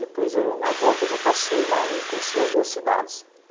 Depois eu, na volta, eu já passei lá e conheci as duas cidades.